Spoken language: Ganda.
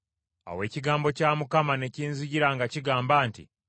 Awo ekigambo kya Mukama ne kinzijira nga kigamba nti,